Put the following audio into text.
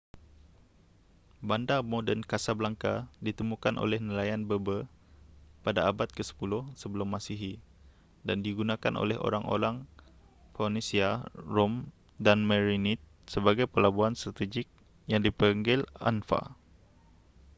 bandar moden casablanca ditemukan oleh nelayan berber pada abad ke-10 sebelum masihi dan digunakan oleh orang-orang phoenecia rom dan merenid sebagai pelabuhan strategik yang dipanggil anfa